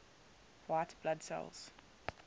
white blood cells